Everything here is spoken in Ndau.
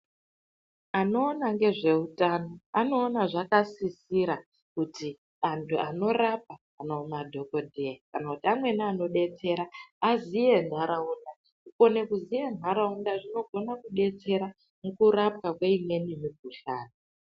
Anoona ngezve utano anoona zvaka sisira kuti antu anorapa kana madhokodheya kana kuti amweni ano detsera aziye nharaunda ku kone kuziye nharaunda zvino gona kudetsera muku rapwa kwe imweni mu kuhlani.